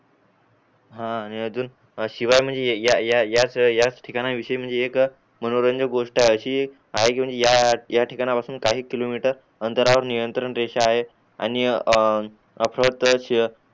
आहे आणि अजून शिवाय म्हणजे या या याच ठिकाना विषयी म्हणजे एक मनोरंजक गोष्ट अशी एक आहे कि या या ठिकाना पासून काही किलोमीटर आंतरावर नियंत्रण रेषा आहेत आणि ए शिखर